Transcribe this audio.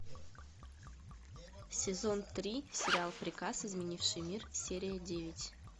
сезон три сериал приказ изменивший мир серия девять